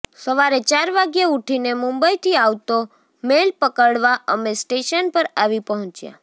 સવારે ચાર વાગ્યે ઊઠીને મુંબઇથી આવતો મેલ પકડવા અમે સ્ટેશન પર આવી પહોંચ્યા